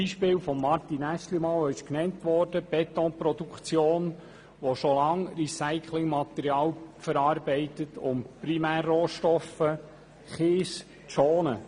Aeschlimann nannte als Beispiel die Betonproduktion, in der schon lange Recyclingmaterial verarbeitet wird, um den Primärrohstoff Kies zu schonen.